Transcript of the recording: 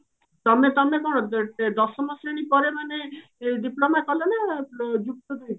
ତମେ ତମେ କଣ ଦଶମ ଶ୍ରେଣୀ ପରେ ମାନେ diploma କଲ ନା ଯୁକ୍ତ ଦୁଇ ପରେ?